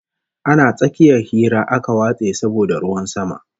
Ana tsakiyar hira aka watse saboda ruwan sama